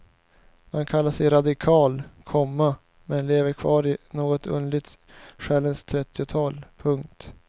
Man kallar sig radikal, komma men lever kvar i något underligt själens trettiotal. punkt